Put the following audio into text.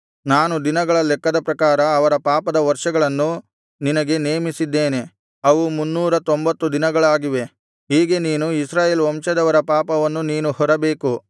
ನಾನು ದಿನಗಳ ಲೆಕ್ಕದ ಪ್ರಕಾರ ಅವರ ಪಾಪದ ವರ್ಷಗಳನ್ನು ನಿನಗೆ ನೇಮಿಸಿದ್ದೇನೆ ಅವು ಮುನ್ನೂರತೊಂಬತ್ತು ದಿನಗಳಾಗಿವೆ ಹೀಗೆ ನೀನು ಇಸ್ರಾಯೇಲ್ ವಂಶದವರ ಪಾಪವನ್ನು ನೀನು ಹೊರಬೇಕು